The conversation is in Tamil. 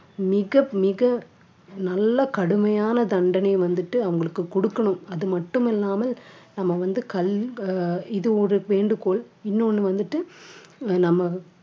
மிக மிக நல்ல கடுமையான தண்டனை வந்துட்டு அவங்களுக்கு குடுக்கணும் அது மட்டுமில்லாமல் நம்ம வந்து கல்~ அஹ் இது ஒரு வேண்டுகோள் இன்னொன்னு வந்துட்டு அஹ் நம்ம